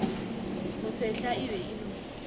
mosehla e be e no